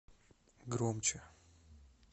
громче